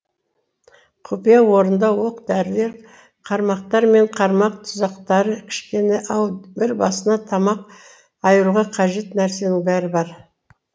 құпия орында оқ дәрілер қармақтар мен қармақ тұзақтары кішкене ау бір басына тамақ айыруға қажет нәрсенің бәрі бар